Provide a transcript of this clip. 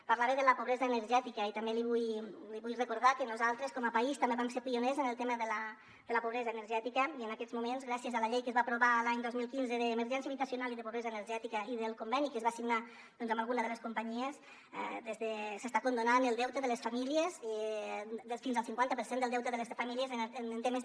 parlava de la pobresa energètica i també li vull recordar que nosaltres com a país també vam ser pioners en el tema de la pobresa energètica i en aquests moments gràcies a la llei que es va aprovar l’any dos mil quinze d’emergència habitacional i de pobresa energètica i del conveni que es va signar doncs amb alguna de les companyies s’està condonant el deute de les famílies fins al cinquanta per cent del deute de les famílies en temes de